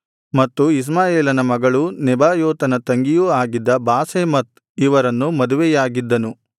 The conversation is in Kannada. ಮತ್ತು ಇಷ್ಮಾಯೇಲನ ಮಗಳೂ ನೆಬಾಯೋತನ ತಂಗಿಯೂ ಆಗಿದ್ದ ಬಾಸೆಮತ್ ಇವರನ್ನು ಮದುವೆಯಾಗಿದ್ದನು